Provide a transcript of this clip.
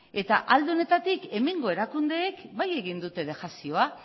eta alde honetatik hemengo erakundeek bai egin dute dejazioa